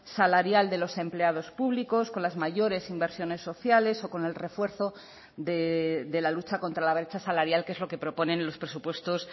salarial de los empleados públicos con las mayores inversiones sociales o con el refuerzo de la lucha contra la brecha salarial que es lo que proponen los presupuestos